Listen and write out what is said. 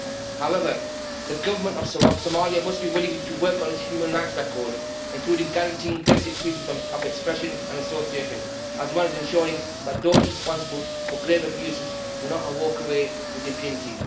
However the government of Somalia must be willing to work on its human rights record, including guaranteeing the basic freedoms of expression and association, as well as ensuring that those responsible for grave abuses do not walk away with impunity.